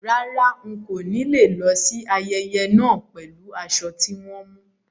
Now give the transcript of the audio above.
Rárá, ń kó ni lọ síí ayẹyẹ náà pẹ̀lú aṣọ tí wọn mú.